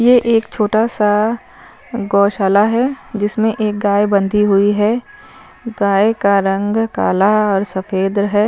ये एक छोटा सा गौशाला है जिसमें एक गाय बंधी हुई है गाय का रंग काला और सफेद है।